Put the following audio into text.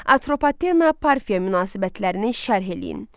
Atropatena Parfiya münasibətlərinin şərh eləyin.